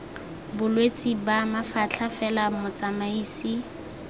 bolwetse ba mafatlha fela motsamaisi